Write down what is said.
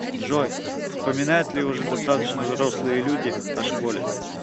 джой вспоминают ли уже достаточно взрослые люди о школе